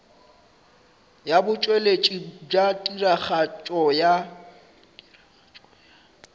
ya botšweletši bja tiragatšo ya